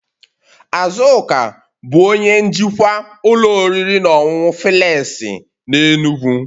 Azuka bụ onye njikwa ụlọ oriri na ọṅụṅụ filesi na enugu